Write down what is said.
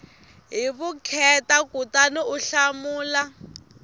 hi vukheta kutani u hlamula